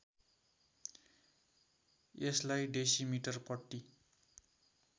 यसलाई डेसिमिटर पट्टी